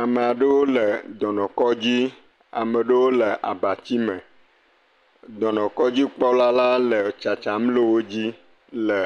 Ame aɖewo le dɔnɔkɔdzi, ame aɖewo le abatsime, dɔnɔkɔdzikpɔla le tsatsam le wodzi le